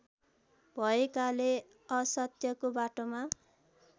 भएकाले असत्यको बाटोमा